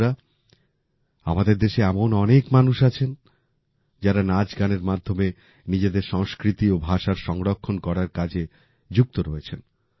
বন্ধুরা আমাদের দেশে এমন অনেক মানুষ আছেন যারা নাচ গানের মাধ্যমে নিজেদের সংস্কৃতি ও ভাষার সংরক্ষণ করার কাজে যুক্ত রয়েছেন